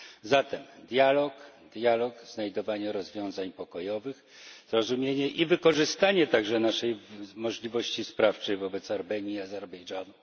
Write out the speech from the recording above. Zatem dialog, dialog, znajdowanie rozwiązań pokojowych, zrozumienie i wykorzystanie także naszej możliwości sprawczej wobec Armenii i Azerbejdżanu.